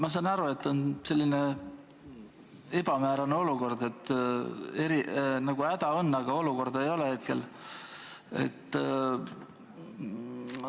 Ma saan aru, et praegu on selline ebamäärane olukord – häda nagu on, aga olukorda hetkel veel ei ole.